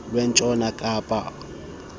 lwentshona kapa olujongene